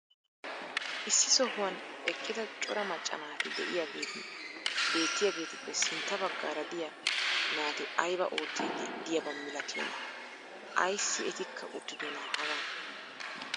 issi sohuwan eqqida cora macca naati diyaageti beetiyaagetuppe sintta bagaara diya naati aybaa oottidi diyaaba malatiyonaa? ayssi etikka uttidonaa hagan?